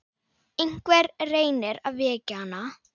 Einhver reynir að vekja hana.